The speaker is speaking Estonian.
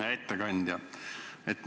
Hea ettekandja!